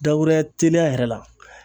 Dakuruya teliya yɛrɛ la